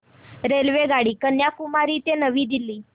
रेल्वेगाडी कन्याकुमारी ते नवी दिल्ली